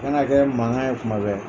A kana kɛ mankan ye tuma bɛ.